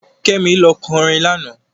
Kẹ́mi lọ orin lánàá.